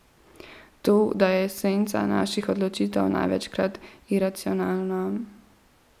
To, da je esenca naših odločitev največkrat iracionalna.